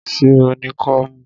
Ṣé o ní kọ́mú?